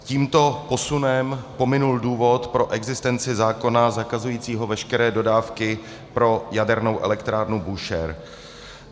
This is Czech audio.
Tímto posunem pominul důvod pro existenci zákona zakazujícího veškeré dodávky pro jadernou elektrárnu Búšehr.